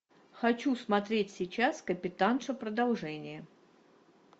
хочу смотреть сейчас капитанша продолжение